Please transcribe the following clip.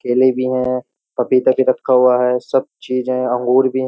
केले भी हैं पपीता भी रखा हुआ है सब चीज है अंगूर भी।